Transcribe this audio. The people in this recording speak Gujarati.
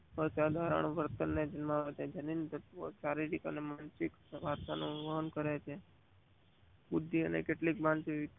આ સાધારણ વર્તન ને જન્માવે છે. જણીનો શારીરિક અને માનસિક સાધનોનું વાહન કરે છે. બુદ્ધિ અને કેટલીક માનસિક